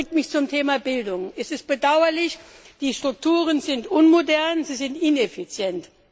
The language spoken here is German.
Das bringt mich zum Thema Bildung. Es ist bedauerlich, die Strukturen sind unmodern, sie sind ineffizient.